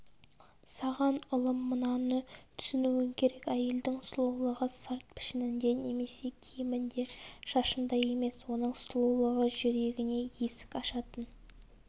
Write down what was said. саған ұлым мынаны түсінуің керек әйелдің сұлулығы сырт пішінінде немесе киімінде шашында емес оның сұлулығы жүрегіне есік ашатын